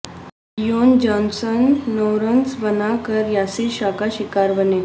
Leone Johnson nine runs بنا کر یاسر شاہ کا شکار بنے